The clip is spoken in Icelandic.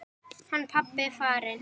Hann pabbi er farinn.